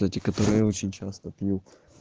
эти которые я очень часто пью